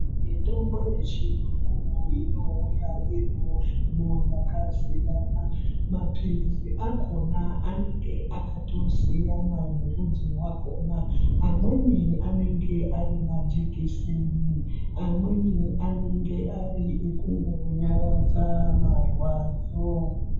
Mitombo yechiyungu inouya iri muhlobo yakasiyana. Maphilizi akhona anenge akatisiyana nerudzi rwakhona. Amweni anenge ari majekiseni, amweni ekungonyaradza marwadzo.